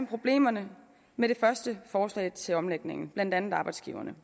problemerne med det første forslag til omlægning blandt andet arbejdsgiverne